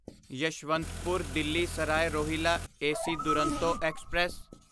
Yeshwantpur Delhi Sarai Rohilla AC Duronto express